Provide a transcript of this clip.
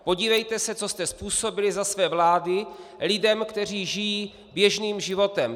Podívejte se, co jste způsobili za své vlády lidem, kteří žijí běžným životem.